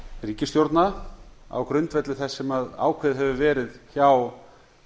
ríkisstjórna á grundvelli þess sem ákveðið hefur verið hjá